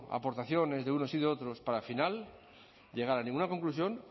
aportaciones de unos y de otros para al final llegar a ninguna conclusión